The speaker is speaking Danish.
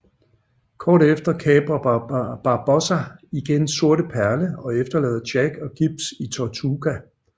Kort efter kaprer Barbossa igen Sorte Perle og efterlader Jack og Gibbs i Tortuga